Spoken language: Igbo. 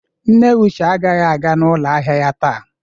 Nne Uche agaghi aga ọnụ ụlọ ahịa ya taa.